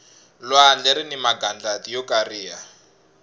lwandle rini magandlati yo kariha